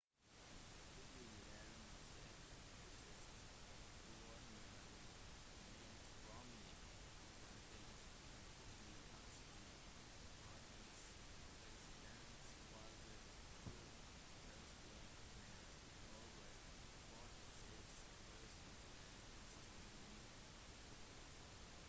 tidligere massachusetts-guvernør mitt romney vant det republikanske partiets presidentvalget på tirsdag med over 46 prosent av stemmene